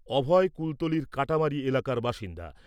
অভয় কুলতলীর কাটামারী এলাকার বাসিন্দা।